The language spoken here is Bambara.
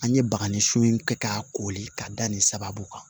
An ye bagani sun in kɛ k'a koli ka da nin sababu kan